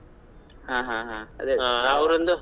ಹಾ ಹಾ ಹಾ .